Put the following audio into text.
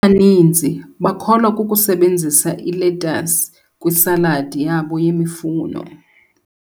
baninzi bakholwa kukusebenzisa iletasi kwisaladi yabo yemifuno.